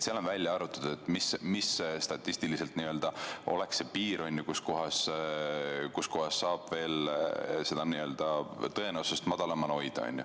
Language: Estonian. Seal on välja arvutatud, mis statistiliselt on see piir, mille puhul saab veel nakatumise tõenäosust madalamal hoida.